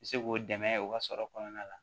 U bɛ se k'o dɛmɛ u ka sɔrɔ kɔnɔna la